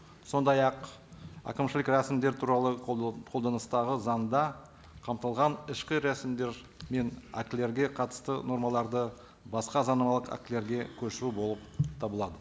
сондай ақ әкімшілік рәсімдер туралы қолданыстағы заңда қамтылған ішкі рәсімдер мен актілерге қатысты нормаларды басқа заңнамалық актілерге көшу болып табылады